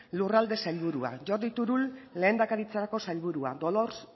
lurralde sailburua jordi turull lehendakaritzarako sailburua dolors